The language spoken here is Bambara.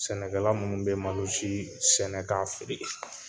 Sɛnɛkɛla minnu bɛ malosi sɛnɛ k'a feere